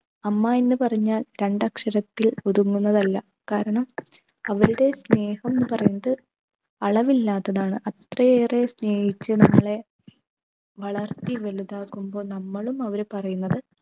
അമ്മ എന്ന്പറഞ്ഞാൽ രണ്ടക്ഷരത്തിൽ ഒതുങ്ങുന്നതല്ല കാരണം അവരുടെ സ്നേഹം പറയുന്നത് അളവില്ലാത്തതാണ് അത്രയേറെ സ്നേഹിച്ച് നമ്മളെ വളർത്തി വലുതാകുമ്പോൾ നമ്മളും അവർ പറയുന്നത്